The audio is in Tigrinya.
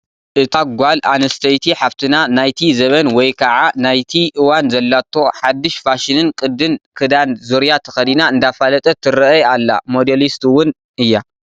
እታ ጓል ኣነስተይቲ ሓፍትና ናይቲ ዘበን ወይ ከዓ ናይቲ እዋን ዘላቶ ሓዱሽ ፋሽንን ቅድን ክዳን ዙርያ ተኸዲና እንዳፋለጠትትረአይ ኣላ፡፡ ሞዴሊስት ውን እያ፡፡